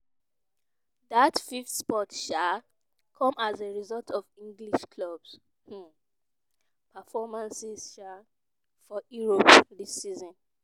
dat fifth spot um come as a result of english clubs' um performances um for europe dis season.